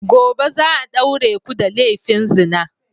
Gobe za a daure ku da laifin zina!